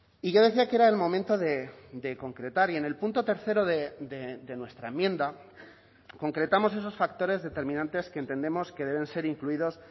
y yo decía que era el momento de concretar y en el punto tercero de nuestra enmienda concretamos esos factores determinantes que entendemos que deben ser incluidos